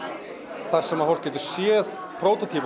þar sem fólk getur séð